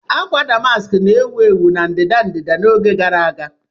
Akwa Damaski na-ewu ewu na ndịda-ndịda n'oge gara aga.